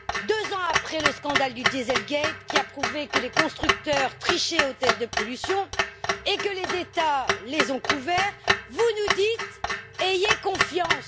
Deux ans après le scandale du dieselgate qui a prouvé que les constructeurs trichaient aux tests de pollution et que les États les ont couverts, vous nous dites Ayez confiance!.